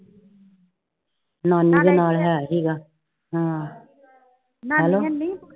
ਨਾਨੀ ਦੇ ਨਾਲ ਹੈ ਸੀਗਾ